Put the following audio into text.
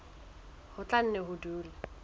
ho tla nne ho dule